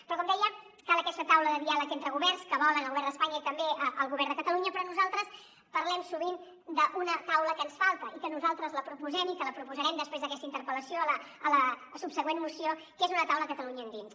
però com deia cal aquesta taula de diàleg entre governs que volen el govern d’espanya i també el govern de catalunya però nosaltres parlem sovint d’una taula que ens falta i que nosaltres la proposem i que la proposarem després d’aquesta interpel·lació a la subsegüent moció que és una taula a catalunya endins